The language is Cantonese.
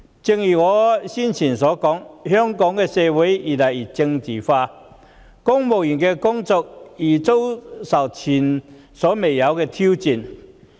正如我之前所說，香港社會越來越政治化，公務員的工作也面臨前所未見的挑戰。